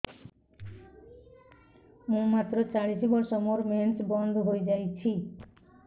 ମୁଁ ମାତ୍ର ଚାଳିଶ ବର୍ଷ ମୋର ମେନ୍ସ ବନ୍ଦ ହେଇଯାଇଛି